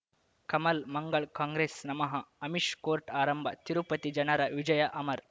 ಕಮಲ್ ಮಂಗಳ್ ಕಾಂಗ್ರೆಸ್ ನಮಃ ಅಮಿಷ್ ಕೋರ್ಟ್ ಆರಂಭ ತಿರುಪತಿ ಜನರ ವಿಜಯ ಅಮರ್